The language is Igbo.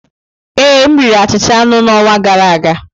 Ee, m riri achịcha aṅụ n'ọnwa gara aga.